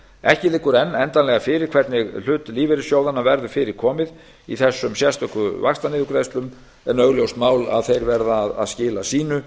ekki liggur enn endanlega fyrir hvernig hlut lífeyrissjóðanna verður fyrirkomið í þessum sérstöku vaxtaniðurgreiðslum en augljóst mál að þeir verða að skila sínu